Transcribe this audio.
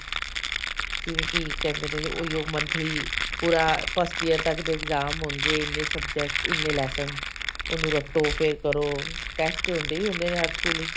ਜਿਵੇਂ ਕੀ ਕਹਿੰਦੇ ਨੇ ਉਹੀਓ monthly ਪੂਰਾ first year ਤੱਕ ਦੇ exam ਹੋਣਗੇ ਇੰਨੇ subject ਇੰਨੇ lesson ਉਹਨੂੰ ਰੱਟੋ ਫੇਰ ਕਰੋ test ਤਾਂ ਹੁੰਦੇ ਹੀ ਹੁੰਦੇ ਨੇ ਹਰ ਸਕੂਲ ਚ